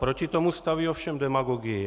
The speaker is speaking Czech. Proti tomu staví ovšem demagogii.